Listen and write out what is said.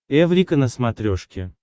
эврика на смотрешке